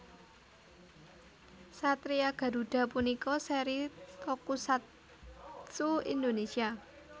Satria Garuda punika seri tokusatsu Indonesia